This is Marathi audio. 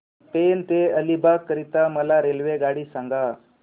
पेण ते अलिबाग करीता मला रेल्वेगाडी सांगा